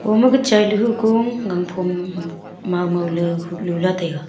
ho makhe chailey huko gangphom maomao ley nuhla taiga.